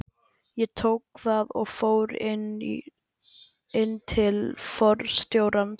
Ég tók það og fór inn til forstjórans.